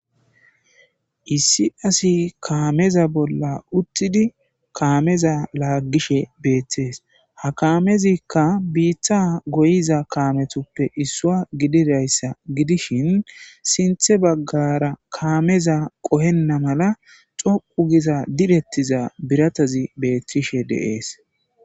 issi asi kaameza bolla uttidi kaameza laaggishe beeththees ha kaamezikka biiththa goyiza kaametoppe issua gidirayssa gidishin sinthe baggara kaameza qohenna mala coqu giza direttiza biratazi beeththishe deees